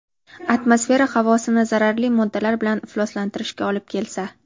atmosfera havosini zararli moddalar bilan ifloslantirishga olib kelsa:.